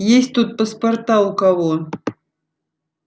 есть тут паспорта у кого